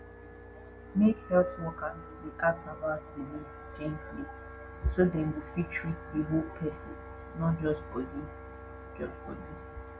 make health workers dey ask about belief gently so dem go fit treat the whole person not just body just body